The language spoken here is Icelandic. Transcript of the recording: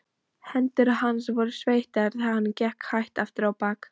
Hendur hans voru sveittar þegar hann gekk hægt afturábak.